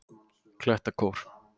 Klettakór